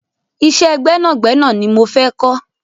Ìṣe gbẹ́nàgbẹ́nà ni mo fẹ́ kọ́